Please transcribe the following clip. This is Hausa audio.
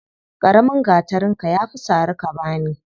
Ƙaramin gatarinka ya fi sari ka bani.